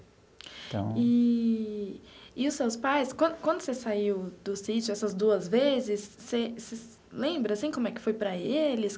Então... Eee e os seus pais, quando quando você saiu do sítio essas duas vezes, você você lembra, assim, como é que foi para eles?